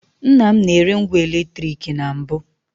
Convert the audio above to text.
Nnam na-ere ngwa eletrik na mbụ.